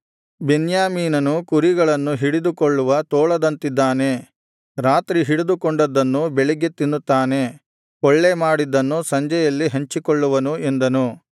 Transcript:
ಬೆನ್ಯಾಮೀನನು ಕುರಿಗಳನ್ನು ಹಿಡಿದುಕೊಳ್ಳುವ ತೋಳದಂತಿದ್ದಾನೆ ರಾತ್ರಿ ಹಿಡಿದುಕೊಂಡದ್ದನ್ನು ಬೆಳಿಗ್ಗೆ ತಿನ್ನುತ್ತಾನೆ ಕೊಳ್ಳೆಮಾಡಿದ್ದನ್ನು ಸಂಜೆಯಲ್ಲಿ ಹಂಚಿಕೊಳ್ಳುವನು ಎಂದನು